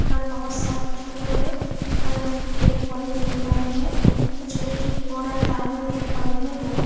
हम बहोत सारे छोटे बड़े हरे रंग के पेड़-पौधे देख पा रहे है कुछ इलेक्ट्रिक पोल और तार भी देख पा रहे है ।